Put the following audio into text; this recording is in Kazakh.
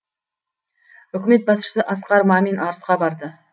үкімет басшысы асқар мамин арысқа барды